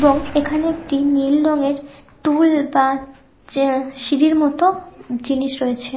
এবং এখানে একটি নীল রঙের টুল বা যে সিঁড়ির মতো জিনিস রয়েছে--